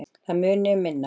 Það muni um minna